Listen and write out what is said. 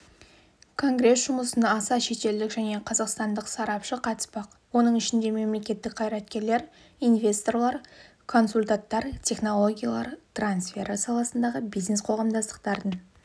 конгресс жұмысына аса шетелдік және қазақстандық сарапшы қатыспақ оның ішінде мемлекеттік қайраткерлер инвесторлар консультанттар технологиялар трансфері саласындағы бизнес-қоғамдастықтардың